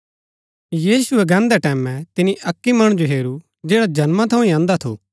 यीशुऐ गान्दै टैमैं तिनी अक्की मणु जो हेरू जैडा जन्मा थऊँ ही अंधा थू